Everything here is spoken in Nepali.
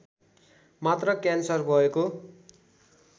मात्र क्यान्सर भएको